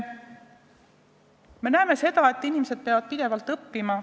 Me näeme seda, et inimesed peavad pidevalt õppima.